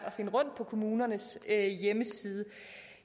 at finde rundt på kommunernes hjemmesider